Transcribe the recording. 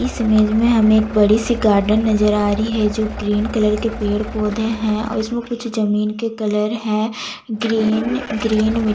इस इमेज में हमें एक बड़ी- सी गार्डन नजर आ रही है जो ग्रीन कलर के पेड़ -पौधे है और इसमें कुछ जमीन के कलर है ग्रीन - ग्रीन मिट्ट --